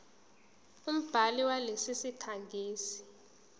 umbhali walesi sikhangisi